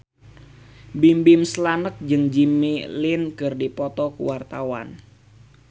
Bimbim Slank jeung Jimmy Lin keur dipoto ku wartawan